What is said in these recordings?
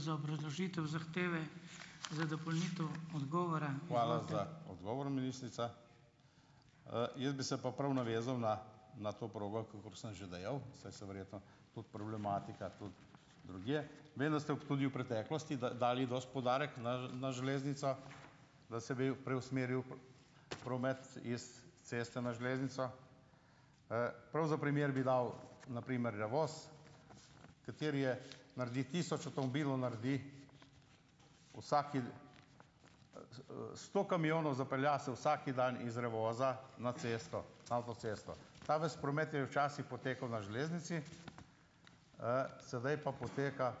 Hvala za odgovor, ministrica. Jaz bi se pa prav navezal na na to progo, kolikor sem že dejal, saj se verjetno tudi problematika tudi drugje. Vem, da ste v tudi v preteklosti dali dosti poudarek na na železnico, da se bi preusmeril promet iz ceste na železnico. Prav za primer bi dal na primer Revoz, kateri je naredi tisoč avtomobilov, naredi vsaki, sto kamionov zapelje se vsaki dan iz Revoza na cesto, avtocesto. Ta ves promet je včasih potekal na železnici, sedaj pa poteka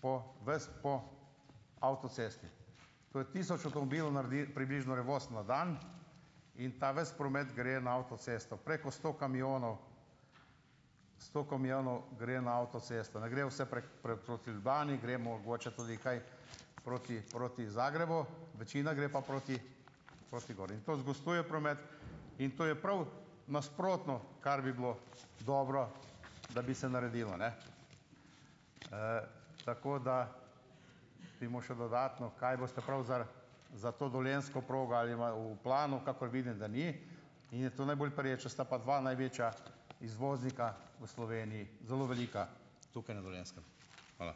po ves po avtocesti. Torej tisoč avtomobilov naredi približno Revoz na dan in ta ves promet gre na avtocesto, preko sto kamionov, sto kamionov gre na avtocesto, ne gre vse proti Ljubljani, gre mogoče tudi kaj proti proti Zagrebu, večina gre pa proti proti gor. In to zgoščuje promet in to je prav nasprotno, kar bi bilo dobro, da bi se naredilo, ne. Tako da k temu še dodatno, kaj boste prav za za to dolenjsko progo ali ima v planu, kakor vidim, da ni, in je to najbolj pereča, sta pa dva največja izvoznika v Sloveniji zelo velika tukaj na Dolenjskem. Hvala.